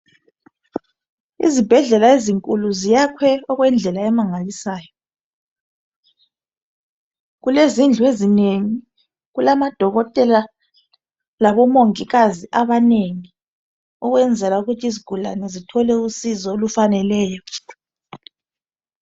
Izibhedlela ezinkulu ziyakhwe okwendlela emangalisayo kulezindlu ezinengi kulabodokotela labomongikazi abanengi ukwenzela ukuthi izigulane zithole usizo olufaneleyo.